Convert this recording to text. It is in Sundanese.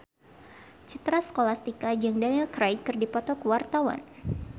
Citra Scholastika jeung Daniel Craig keur dipoto ku wartawan